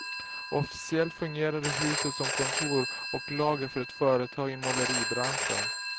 Officiellt fungerade huset som kontor och lager för ett företag i måleribranschen.